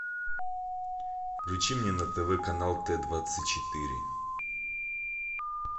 включи мне на тв канал т двадцать четыре